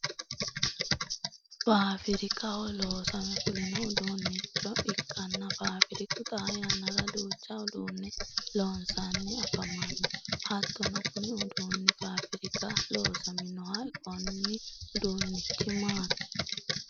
Faafirikaho loosame fulino uduunicho ikanna faafiriku xaa yannara duucha uduune loosanni afamano hattono kunni uduunni faafiraka loosaminoho konni uduunichi maati?